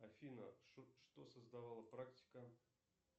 афина что создавала практика